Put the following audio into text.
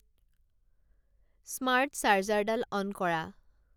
smart চাৰ্জাৰডাল on কৰা